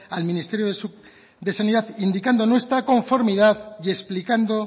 al ministerio de sanidad indicando nuestra conformidad y explicando